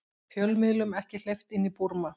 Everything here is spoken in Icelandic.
Fjölmiðlum ekki hleypt inn í Búrma